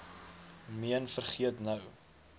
meen vergeet nou